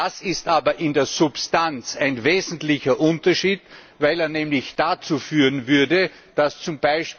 Das ist aber in der Substanz ein wesentlicher Unterschied, weil das nämlich dazu führen würde, dass z.